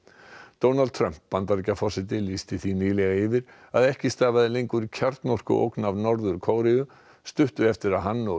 Donald Trump Bandaríkjaforseti lýsti því nýlega yfir að ekki stafaði lengur kjarnorkuógn af Norður Kóreu stuttu eftir að hann og